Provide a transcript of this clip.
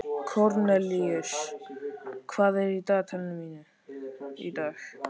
Kornelíus, hvað er á dagatalinu mínu í dag?